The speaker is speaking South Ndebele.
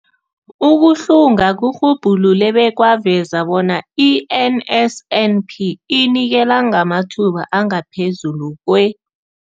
Ukuhlunga kurhubhulule bekwaveza bona i-NSNP inikela ngamathuba angaphezulu kwe-